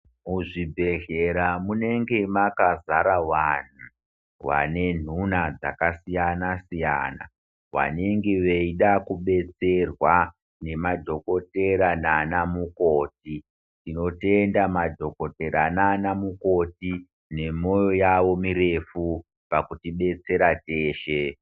Muzvibhedhlera munenge makazara vanhu vane nhuna dzakasiyana siyana vanenge veida kubetserwa nemadhokotera nanamukoti. Tinotenda madhokotera nanamukoti nemwoyo yavo mirefu pakutidetsera teshe.